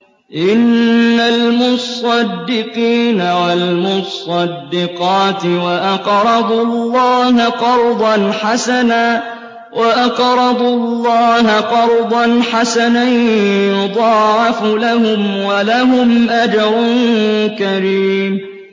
إِنَّ الْمُصَّدِّقِينَ وَالْمُصَّدِّقَاتِ وَأَقْرَضُوا اللَّهَ قَرْضًا حَسَنًا يُضَاعَفُ لَهُمْ وَلَهُمْ أَجْرٌ كَرِيمٌ